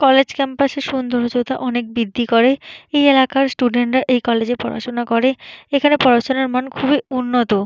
College campus -এর সৌন্দর্য্যতা অনেক বৃদ্ধি করে। এই এলাকার স্টুডেন্ট -রা এই কলেজে পড়াশুনা করে এখানে পড়াশুনার মান খুবই উন্নত।